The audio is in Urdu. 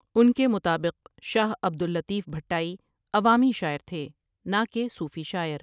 ان کے مطابق شاہ عبد اللطیف بھٹائی عوامی شاعر تھے نہ کہ صوفی شاعر۔